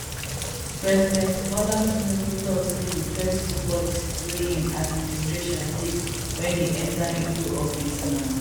president bola tinubu tok say di first two policies wey im administration take wen e enta into office na